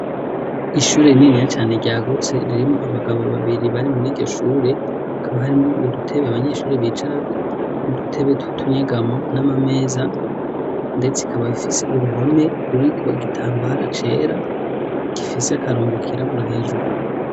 ishure rininiya cane ryagutse ririmo abagabo babiri bari muri iryoshure akaba hari mo udutebe abanyeshuri bicara nu dutebe tutunyegamo n'amameza ndetse ikaba bifise uruhome ruriko igitambara cera gifise akarongo kirabura hejuru